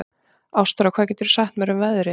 Ástþóra, hvað geturðu sagt mér um veðrið?